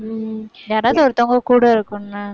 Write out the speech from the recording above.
உம் யாராவது ஒருத்தவங்க கூட இருக்கணும்ன.